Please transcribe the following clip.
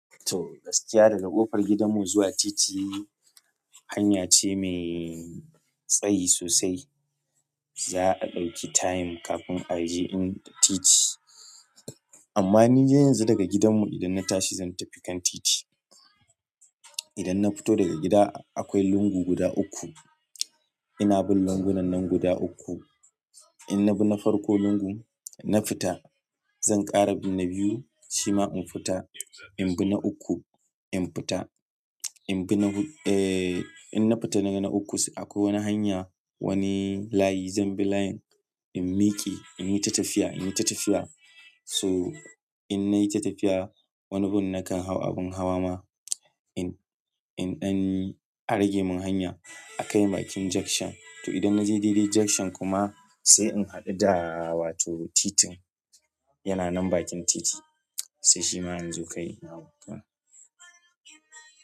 To, gaskiya daga ƙofar gidanmu zuwa titi hanya ce mai tsayi sosai. Za a ɗauki time kafin a je in titi. Amma ni yanzu daga gidanmu idan na tashi zan tafi kan titi. Idan na fito daga gida akwai lungu guda uku. Ina bin lungunan nan guda uku. In na bi na farko lungu na fita zan ƙara bi na biyu shima in fita. In bi na uku in fita, in na fita na uku sai akwai wani hanya wani layi zan bi layin in miƙe in yi ta tafiya, in yi ta tafiya. To in na yi ta tafiya wani gun nakan hau abin hawa ma in, in an rage mun hanya a kai bakin junction. To idan na je daidai junction kuma sai in haɗu da wato titin yana nan bakin titi sai shima in zo kai na.